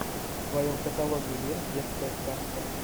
в твоем каталоге есть детская сказка